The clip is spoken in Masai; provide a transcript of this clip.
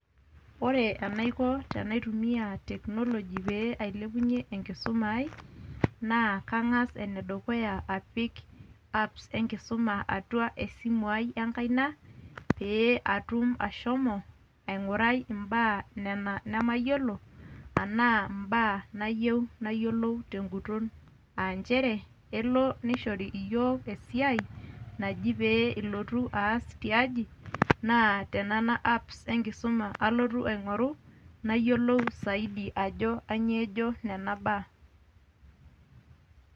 Ore enaiko tenaitumia technology pe ailepunye enkisuma ai, na kang'as enedukuya apik apps enkisuma atua esimu ai enkaina, pe atum ashomo aing'urai imbaa nena nemayiolo, enaa imbaa nayieu nayiolou teguton. Ah njere, elo nishori iyiook esiai, naji pe ilotu aas tiaji, naa tenena apps enkisuma alotu aing'oru, nayiolou saidi ajo kanyioo ejo nena baa.